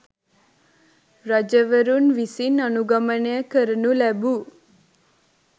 රජවරුන් විසින් අනුගමනය කරනු ලැබූ